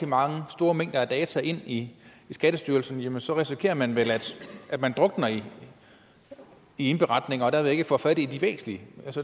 meget store mængder data ind i skattestyrelsen så risikerer man vel at man drukner i indberetninger og derved ikke får fat i de væsentlige